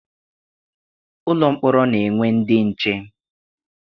Ụlọ mkpọrọ na-enwe ndị nche.